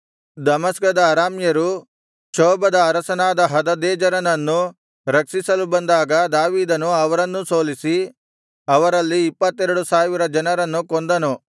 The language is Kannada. ದಮಸ್ಕದ ಅರಾಮ್ಯರು ಚೋಬದ ಅರಸನಾದ ಹದದೆಜೆರನನ್ನು ರಕ್ಷಿಸಲು ಬಂದಾಗ ದಾವೀದನು ಅವರನ್ನೂ ಸೋಲಿಸಿ ಅವರಲ್ಲಿ ಇಪ್ಪತ್ತೆರಡು ಸಾವಿರ ಜನರನ್ನು ಕೊಂದನು